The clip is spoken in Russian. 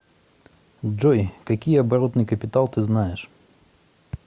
джой какие оборотный капитал ты знаешь